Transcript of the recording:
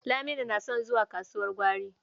Laminu yana son zuwa kasuwar gwari.